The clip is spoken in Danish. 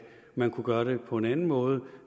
man kunne gøre det på en anden måde